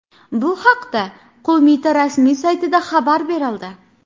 Bu haqda qo‘mita rasmiy saytida xabar berildi .